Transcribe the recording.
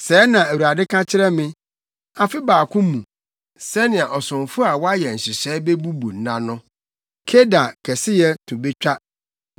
Sɛɛ na Awurade ka kyerɛ me, “Afe baako mu, sɛnea ɔsomfo a wayɛ nhyehyɛe bebubu nna no, Kedar kɛseyɛ to betwa.